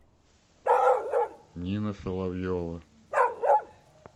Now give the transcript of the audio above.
нина соловьева